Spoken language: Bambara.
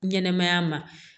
Ɲɛnɛmaya ma